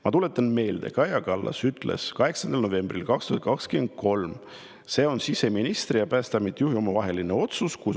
Ma tuletan meelde, et Kaja Kallas ütles 8. novembril 2023: " see on siseministri ja Päästeameti juhi omavaheline otsus.